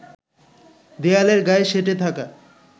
দেয়ালের গায়ে সেঁটে থাকা